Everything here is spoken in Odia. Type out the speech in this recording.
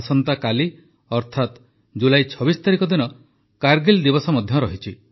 ଆସନ୍ତାକାଲି ଅର୍ଥାତ ଜୁଲାଇ ୨୬ ତାରିଖ ଦିନ କାରଗିଲ୍ ଦିବସ ମଧ୍ୟ ରହିଛି